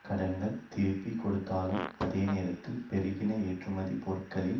கடன்கள் திருப்பி கொடுத்தலும் அதே நேரத்தில் பெருகின ஏற்றுமதிப் பொருட்களின்